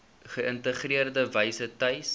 geïntegreerde wyse tuis